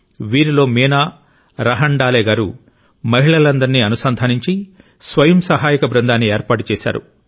వీరిలో మీనా రాహండాలే గారు మహిళలందరినీ అనుసంధానించి స్వయం సహాయక బృందాన్ని ఏర్పాటు చేశారు